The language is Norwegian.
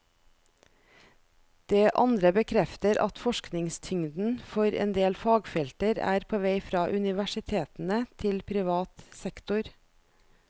Det andre bekrefter at forskningstyngden for endel fagfelter er på vei fra universitetene til privat sektor.